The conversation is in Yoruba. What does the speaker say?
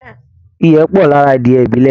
Ìyẹ́ pọ̀ lára adìẹ ibilẹ̀